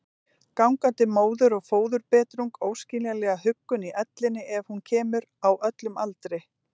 Gangandi móður- og föðurbetrung, óskiljanlega huggun í ellinni ef hún kemur, á öllum aldri.